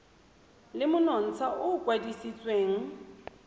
le monontsha o o kwadisitsweng